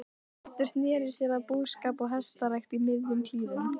Pétur sneri sér að búskap og hestarækt í miðjum klíðum.